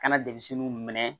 Kana denmisɛnninw minɛ